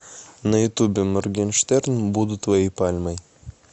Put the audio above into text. на ютубе моргенштерн буду твоей пальмой